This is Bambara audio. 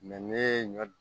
ne ye ɲɔ